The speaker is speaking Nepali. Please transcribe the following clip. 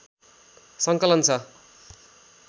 सङ्कलन छ